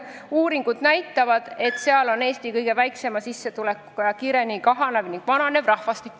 Uuringud näitavad, et seal on Eesti kõige väiksema sissetulekuga ning kõige kiiremini kahanev ja vananev rahvastik.